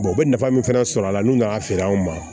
u bɛ nafa min fana sɔrɔ a la n'u nana feere anw ma